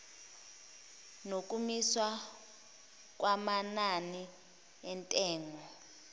nokumiswa kwamanani entengo